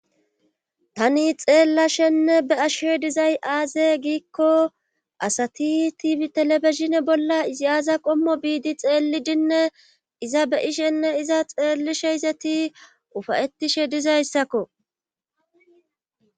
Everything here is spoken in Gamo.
Tani xeellashenne be'ashshe dizay aaze giikko asati tibi telefisine bolla iziyaaza qommo biidi xeellidinne iza be ishenne iza xeellishe izeti ufayettishe dizayssakko